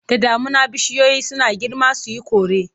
Da damuna bishiyoyi suna girma su yi kore.